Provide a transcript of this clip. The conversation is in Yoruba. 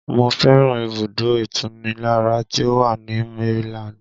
Mo fẹ́ràn ibùdó ìtunilára tí ó wà ní Maryland